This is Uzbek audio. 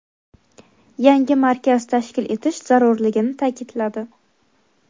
yangi markaz tashkil etish zarurligini taʼkidladi.